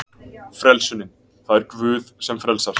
Frelsunin: Það er Guð sem frelsar.